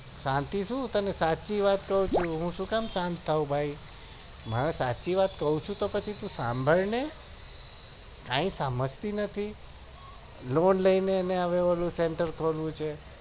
શાંતિ શું તને સાચી વાત કું છુ હું સુ કામ સાંત થાઉં ભાઈ હું સાચી વાત કું છું તો પછી તું સંભાળને કઈ સમજતી નથી